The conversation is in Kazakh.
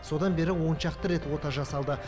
содан бері он шақты рет ота жасалды